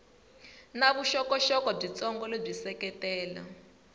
na vuxokoxoko byitsongo lebyi seketela